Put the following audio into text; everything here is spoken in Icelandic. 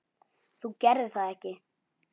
Þú gerðir það ekki?